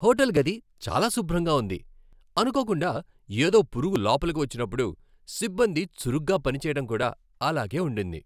Hotel గది చాలా శుభ్రంగా ఉంది, అనుకోకుండా ఏదో పురుగు లోపలికి వచ్చినప్పుడు సిబ్బంది చురుగ్గా పని చెయ్యటం కూడా అలాగే ఉండింది.